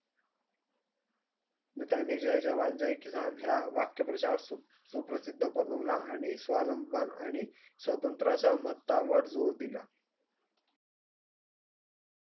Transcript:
त्यानी जय जवान जय किसान हे वाक्य खुप प्रसीध बनवाला आणि त्या नंतर आनी असा मानता वर जोर दिला